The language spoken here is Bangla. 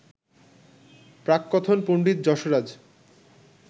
প্রাককথন পণ্ডিত যশরাজ